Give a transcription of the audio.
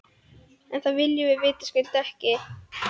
En það viljum við vitaskuld ekki.